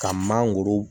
Ka mangoro